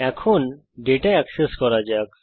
এখন data access করা যাক